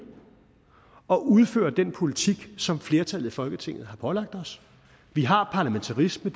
og udføre den politik som flertallet i folketinget har pålagt os vi har parlamentarisme